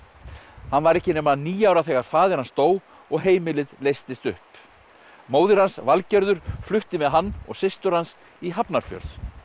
hann var ekki nema níu ára þegar faðir hans dó og heimilið leystist upp móðir hans Valgerður flutti með hann og systur hans í Hafnarfjörð